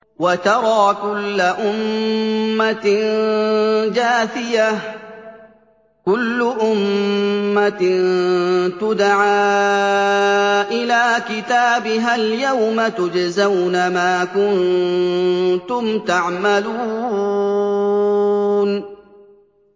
وَتَرَىٰ كُلَّ أُمَّةٍ جَاثِيَةً ۚ كُلُّ أُمَّةٍ تُدْعَىٰ إِلَىٰ كِتَابِهَا الْيَوْمَ تُجْزَوْنَ مَا كُنتُمْ تَعْمَلُونَ